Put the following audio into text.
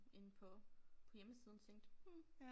Inde på på hjemmesiden tænkte hm